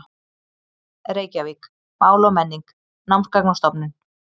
Reykjavík: Mál og menning: Námsgagnastofnun.